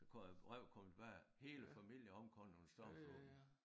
Så kom et brev kom tilbage hele familien omkommet under stormfloden